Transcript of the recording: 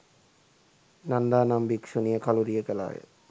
නන්දා නම් භික්ෂුණිය කළුරිය කළා ය.